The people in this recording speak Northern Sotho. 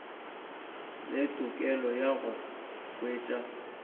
le tokelo ya go hwetša